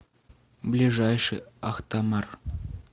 ближайший ахтамар